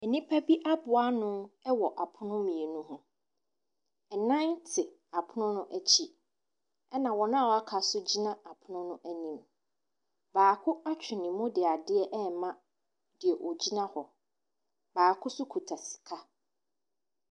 Nipa bi aboa ano wɔ ɛpono mmienu hɔ ɛnan te apono akyi ɛna wɔn waka nso gyina ɛpono no anim baako atwi ne mu di adeɛ ɛma deɛ ɔgyina hɔ baako nso kuta sika.